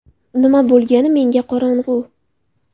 Nima bo‘lgani menga qorong‘u.